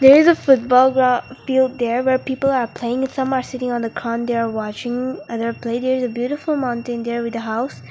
it is a football gro field there where people are playing some are sitting on the there watching other player there is a beautiful mountain there with a house.